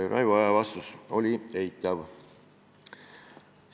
Raivo Aegi vastus oli eitav.